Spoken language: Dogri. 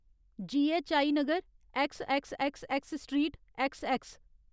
जीऐच्चआई नगर, ऐक्सऐक्सऐक्सऐक्स स्ट्रीट, ऐक्सऐक्स।